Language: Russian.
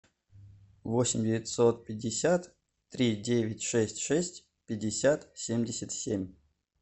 восемь девятьсот пятьдесят три девять шесть шесть пятьдесят семьдесят семь